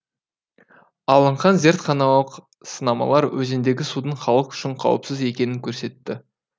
алынған зертханалық сынамалар өзендегі судың халық үшін қауіпсіз екенін көрсетті